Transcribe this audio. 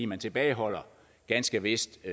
man tilbageholder ganske vist